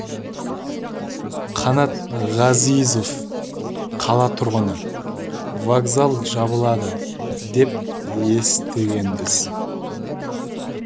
қанат ғазизов қала тұрғыны вокзал жабылады деп естігенбіз